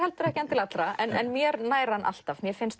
ekki allra mér nær hann alltaf mér finnst